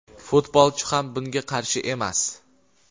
Futbolchi ham bunga qarshi emas;.